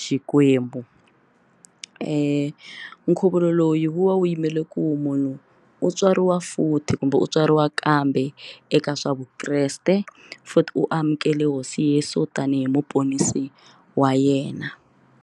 Xikwembu nkhuvulo loyi wa wu yimele ku munhu u tswariwa futhi kumbe u tswariwa kambe eka swa vukreste futhi u amukela Hosi Tesu tanihi muponisi wa yena.